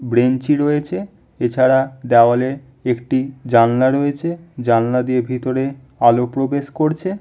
ব্রেঞ্চি রয়েছে। এছাড়া দেওয়ালে একটি জানলা রয়েছে। জানলা দিয়ে ভিতরে আলো প্রবেশ করছে --